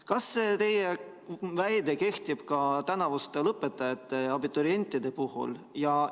Kas see teie väide kehtib ka tänavuste põhikooli lõpetajate ja abiturientide puhul?